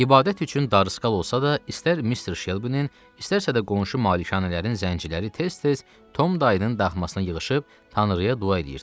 İbadət üçün darısqal olsa da, istər mister Şelbinin, istərsə də qonşu malikanələrin zəncirləri tez-tez Tom dayının daxmasına yığışıb Tanrıya dua eləyirdilər.